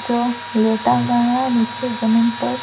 जो लेटा हुआ है नीचे जमीन पर--